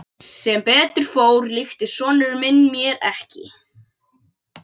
Sem betur fór líktist sonur minn mér ekki.